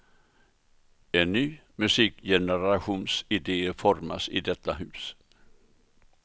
En ny musikgenerations idéer formas i detta hus.